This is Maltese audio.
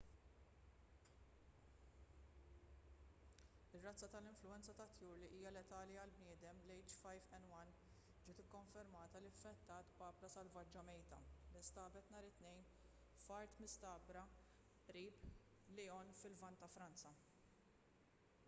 ir-razza tal-influwenza tat-tjur li hija letali għall-bnedmin l-h5n1 ġiet ikkonfermata li infettat papra selvaġġa mejta li nstabet nhar it-tnejn f'art mistagħdra qrib lyon fil-lvant ta' franza